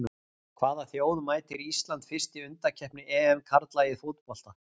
Hvaða þjóð mætir Ísland fyrst í undankeppni EM karla í fótbolta?